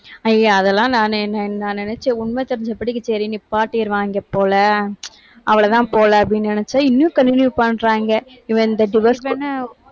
ஐயே அதெல்லாம் நானு நான் நினைச்ச உண்மை தெரிஞ்சபடிக்கு சரி நிப்பாட்டிருவாங்க போல அவ்ளோதான் போல அப்படின்னு நினைச்சா இன்னும் continue பண்றாங்க. இவன் இந்த divorce